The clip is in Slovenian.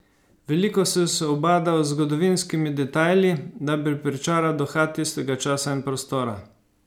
Veliko sem se ubadal z zgodovinskimi detajli, da bi pričaral duha tistega časa in prostora.